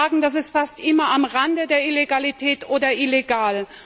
Ich kann sagen, das ist fast immer am Rande der Illegalität oder illegal.